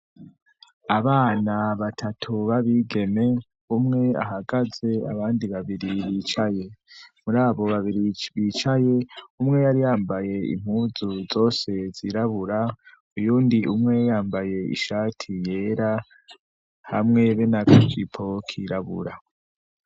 Abana batatu babigeme umwe ahagaze ,abandi babiri bicaye. Muri abo babiri bicaye, umwe yari yambaye impunzu zose zirabura, uyundi umwe yambaye ishati yera hamwe be nakajipo kirabura.